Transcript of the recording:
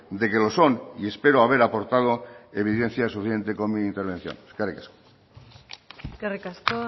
de que lo son y espero haber aportado evidencias suficientes con mi intervención eskerrik asko eskerrik asko